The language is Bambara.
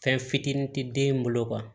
Fɛn fitinin ti den bolo